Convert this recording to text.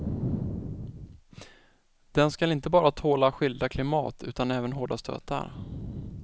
Den skall inte bara tåla skilda klimat utan även hårda stötar.